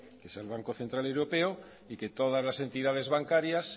que es banco central europea y que todas las entidades bancarias